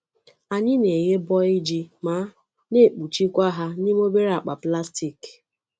Anyị na-eghe bọl ji ma na-ekpuchikwa ha n’ime obere akpa plastik.